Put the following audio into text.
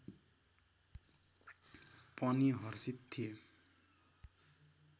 पनि हर्षित थिए